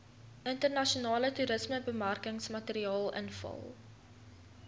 internasionale toerismebemarkingsmateriaal invul